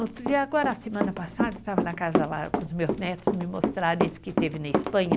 Outro dia, agora, semana passada, eu estava na casa lá com os meus netos, me mostraram esse que teve na Espanha.